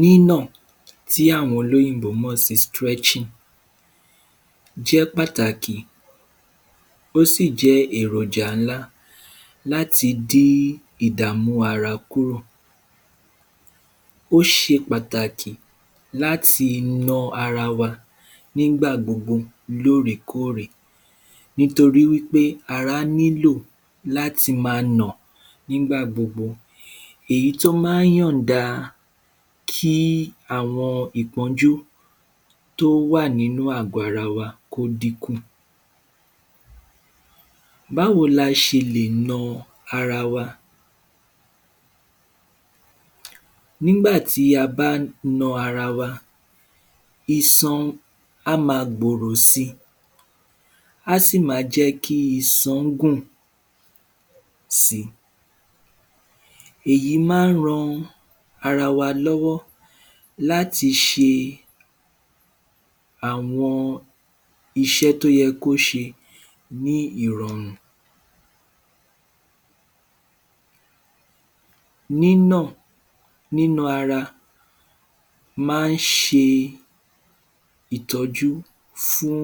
Nínà, tí àwọn olóyìnbó mọ̀ sí stretching, jẹ́ pàtàkì, ó sì jẹ́ èròjà ńlá láti dí ìdàmú ara kúrò, ó ṣe pàtàkì láti na ara wa nígbà gbogbo lórèkórè, nítorí ara nílò láti ma na nígbà gbogbo, èyí tó má yànda kí àwọn ìpónjú tó wà nínú àgọ́ ara wa kó díkù. Báwo ni a ṣe lè na ara wa. Nígbà tí a bá na ara wa, isan a ma gbòrò si, á sì ma jẹ́ kí isan gùn si, èyí má ran ara wa lọ́wọ́ láti ṣe àwọn iṣẹ́ tó ye kó ṣe, ní ìrọ̀rùn. Nínà, nína ara ma ṣe ìtọ́jú fún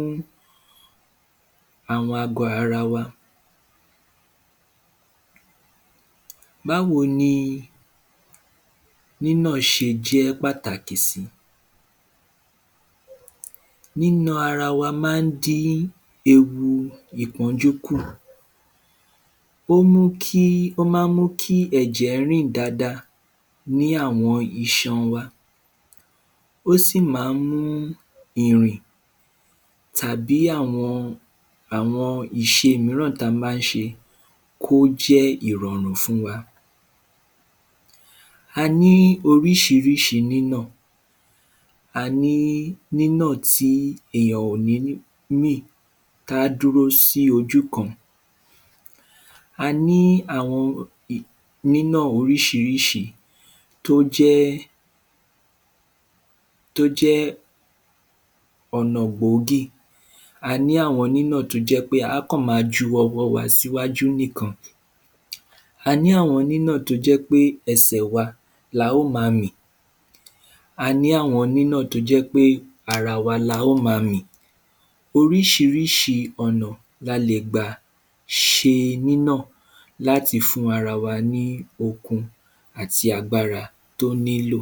àwọn àgọ́ ara wa. Báwo ni nínà ṣe jẹ́ pàtàkì sí. Nína ara wa má dí ẹwu ìpọ́njú kù, ó mú kí, ó má kí ẹ̀jẹ̀ rìn dada ní àwọn isan wa, ó sì má mú ìrín tàbí àwọn ìṣe míràn tí a má ṣe kó jẹ́ ìrọ̀ùn fún wa, a ní orísírísí nínà. Aní nínà tí ènìyàn kò ní mì tí á dúró sí ojú kan, aní àwọn umm nínà orísírísí tó jẹ́, tó jẹ́ ọ̀nà gbòógì, aní àwọn nínà tó jẹ́ pé á kàn ma ju ọwọ́ wa síwájú nìkan, a ní àwọn nínà tó jẹ́ ẹṣè wa la ó ma mì, aní àwọn nínà tójẹ́ pé ara wa la ó ma mì, orísírísí ọ̀nà ni a lè gbà ṣẹ nínà láti fún ara wa ní okun àti agbára tó nílò